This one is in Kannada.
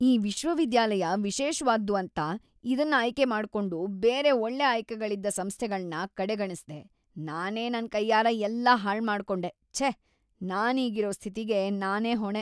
ಈ ವಿಶ್ವವಿದ್ಯಾಲಯ ವಿಶೇಷ್ವಾದ್ದು ಅಂತ ಇದುನ್ ಆಯ್ಕೆ ಮಾಡ್ಕೊಂಡು ಬೇರೆ ಒಳ್ಳೆ ಆಯ್ಕೆಗಳಿದ್ದ ಸಂಸ್ಥೆಗಳನ್ನ ಕಡೆಗಣಿಸ್ದೆ. ನಾನೇ ನನ್‌ ಕೈಯಾರೆ ಎಲ್ಲ ಹಾಳ್ಮಾಡ್ಕೊಂಡೆ, ಛೇ! ನಾನೀಗಿರೋ ಸ್ಥಿತಿಗೆ ನಾನೇ ಹೊಣೆ.